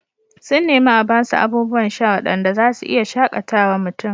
Sun nemi a ba su abubuwan sha waɗanda za su iya shaƙatawa mutum